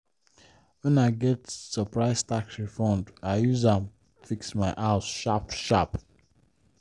when i get surprise tax refund i use am fix my house sharp-sharp.